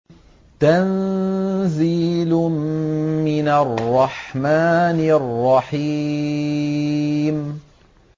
تَنزِيلٌ مِّنَ الرَّحْمَٰنِ الرَّحِيمِ